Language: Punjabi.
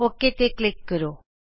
ਅੋਕੇ ਤੇ ਕਲਿਕ ਕਰੋ